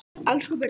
Elsku Birna